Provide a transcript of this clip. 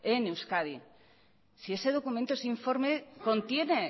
en euskadi si ese documento ese informe contiene